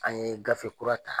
An ye gafe kura ta